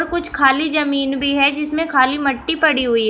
कुछ खाली जमीन भी है जिसमें खाली मट्टी पड़ी हुई है।